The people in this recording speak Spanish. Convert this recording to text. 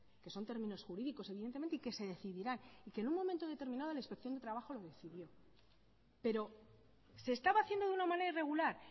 que son términos jurídicos evidentemente y que se decidirán y que en un momento determinado la inspección de trabajo lo decidió pero se estaba haciendo de una manera irregular